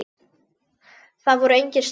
Það voru engir stælar.